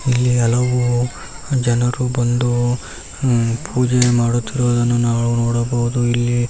ಇಲ್ಲಿ ಹಲವು ಜನರು ಬಂದು ಪೂಜೆ ಮಾಡುತ್ತಿರುವುದನ್ನು ನಾವು ನೋಡಬಹುದು ಇಲ್ಲಿ--